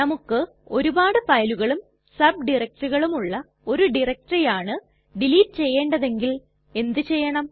നമുക്ക് ഒരുപാട് ഫയലുകളും സബ് ഡയറക്ടറികളുമുള്ള ഒരു ഡയറക്ടറി ആണ് ഡിലീറ്റ് ചെയ്യേണ്ടതെങ്കിൽ എന്ത് ചെയ്യണം